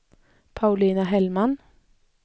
Paulina Hellman